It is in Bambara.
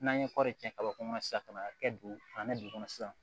N'an ye kɔri tiɲɛ kabako kɔnɔ sisan ka n'a kɛ don kɔnɔ sisan